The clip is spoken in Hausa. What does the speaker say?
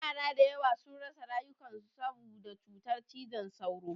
Yara da yawa sun rasa rayukan su saboda cutar cizon sauro.